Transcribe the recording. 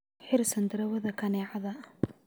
Xir sandarwada kaneecada.